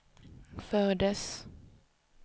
fördes